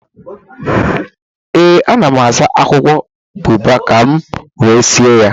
ee, ana m asa akwụkwọ boabab ka m wee sie ya